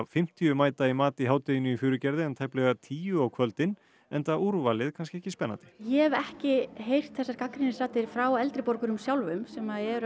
fimmtíu mæta í mat í hádeginu í Furugerði en tæplega tíu á kvöldin enda úrvalið kannski ekki spennandi ég hef ekki heyrt þessar gagnrýnisraddir frá eldri borgurum sjálfum sem eru